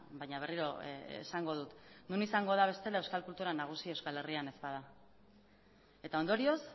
baina berriro esango dut non izango da bestela euskal kultura nagusi euskal herrian ez bada eta ondorioz